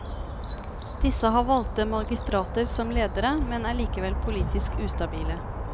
Disse har valgte magistrater som ledere, men er likevel politisk ustabile.